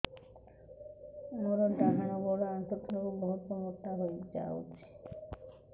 ମୋର ଡାହାଣ ଗୋଡ଼ ଆଣ୍ଠୁ ତଳକୁ ବହୁତ ମୋଟା ହେଇଯାଉଛି